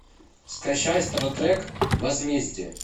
скачай стар трек возмездие